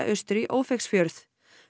austur í Ófeigsfjörð